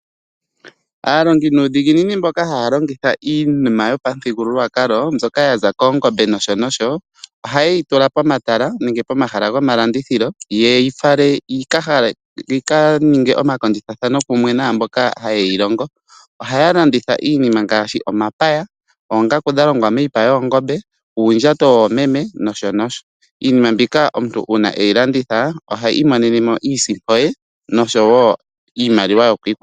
Aalongi nuudhiginini mboka haya longitha iinima yo pamuthigululwakalo mbyoka yaza koongombe nosho nosho, oha yeyi tula pomatala nenge pomahala gomalandithilo yeyi fale yika ninge omakondjithathano kumwe naamboka ha yeyi longo. Ohaya landitha iinima ngaashi omapaya, oongaku dha longwa miipa yoongombe nuundjato womeme. Iinima mbika uuna omuntu eyi landitha ota vulu okwi imonena mo iisimpo ye.